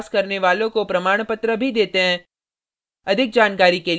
online test pass करने वालों को प्रमाणपत्र भी देते हैं